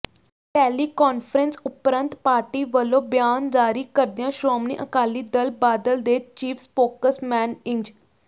teleconference ਉਪਰੰਤ party ਵੱਲੋਂ ਬਿਆਨ ਜਾਰੀ ਕਰਦਿਆਂ ਸ਼੍ਰੋਮਣੀ ਅਕਾਲੀ ਦਲ ਬਾਦਲ ਦੇ ਚੀਫ ਸਪੋਕਸਮੈਨ ਇੰਜ